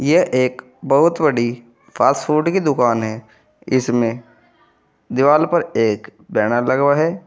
यह एक बहोत बड़ी फास्ट फूड की दुकान है इसमें दीवाल पर एक बैनर लगा हुआ है।